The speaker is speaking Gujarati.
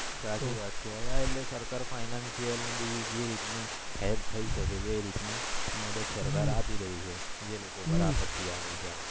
સાચી વાત છે એટલે આ સરકાર financial ને બીજી જે રીત ની help થય શકે છે એ રીતની મતલબ સરકાર આપી દેય છે જે લોકો ઉપર આપતી આવે છે આવી